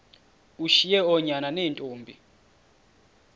ushiye oonyana neentombi